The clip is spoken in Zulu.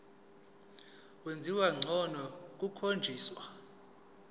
kwenziwa ngcono kukhonjiswa